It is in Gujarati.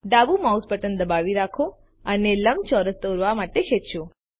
ડાબુ માઉસ બટન દબાવી રાખો અને લંબચોરસ દોરવા માટે ખેંચો